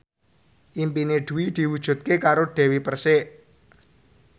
impine Dwi diwujudke karo Dewi Persik